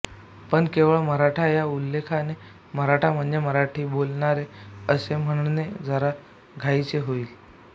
पण केवळ मराठा या उल्लेखाने मराठा म्हणजे मराठी बोलणारे असे म्हणणे जरा घाईचे होईल